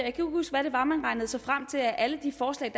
ikke huske hvad det var man regnede sig frem til at alle de forslag